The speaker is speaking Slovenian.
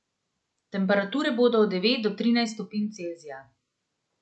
Temperature bodo od devet do trinajst stopinj Celzija.